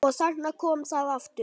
Og þarna kom það aftur!